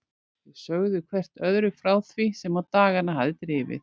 Þau sögðu hvert öðru frá því sem á dagana hafði drifið.